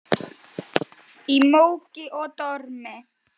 Í móki og dormi.